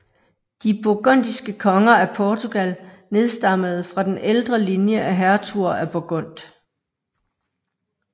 De burgundiske konger af Portugal nedstammede fra den ældre linje af hertuger af Burgund